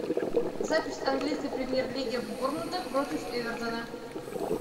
запись английской премьер лиги борнмута против эвертона